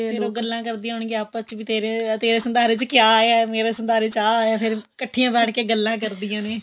ਫ਼ੇਰ ਉਹ ਗੱਲਾਂ ਕਰਦੀਆਂ ਹੋਣਗੀਆਂ ਆਪਸ ਚ ਤੇਰੇ ਤੇਰੇ ਸੰਧਾਰੇ ਚ ਕਿਆ ਆਇਆ ਮੇਰੇ ਸੰਧਾਰੇ ਚ ਆਹ ਆਇਆ ਫ਼ੇਰ ਇੱਕਠੀਆਂ ਬੈਠ ਕੇ ਗੱਲਾਂ ਕਰਦਿਆਂ ਨੇ